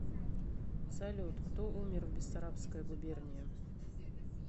салют кто умер в бессарабская губерния